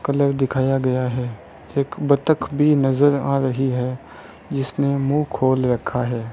Colour दिखाया गया है एक बत्तख भी नजर आ रही है जिसने मुंह खोल रखा है।